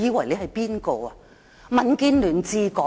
現在是民建聯治港嗎？